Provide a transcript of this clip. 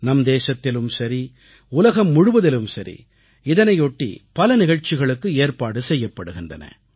நம் தேசத்திலும் சரி உலகம் முழுவதிலும் சரி இதனையொட்டி பல நிகழ்ச்சிகளுக்கு ஏற்பாடு செய்யப்படுகின்றன